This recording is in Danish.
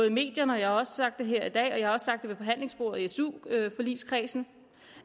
i medierne jeg har sagt det her i dag og jeg har sagt det ved forhandlingsbordet i su forligskredsen